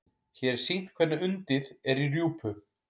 Hér er sýnt hvernig undið er í rjúpu.